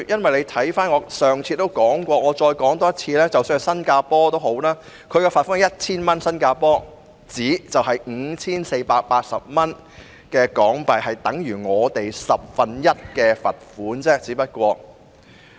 我上次發言也提到，我現在再說一次，即使新加坡對有關罪行的罰款也只是 1,000 新加坡元，兌換後是 5,480 港元，即等於《條例草案》中所訂罰款的十分之一。